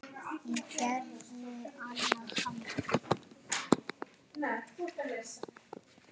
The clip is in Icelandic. Og geturðu annast hann?